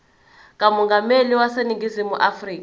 kamongameli waseningizimu afrika